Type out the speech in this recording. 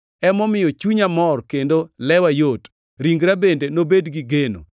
Emomiyo chunya mor kendo lewa yot; ringra bende nobed gi geno,